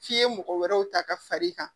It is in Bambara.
F'i ye mɔgɔ wɛrɛw ta ka far'i kan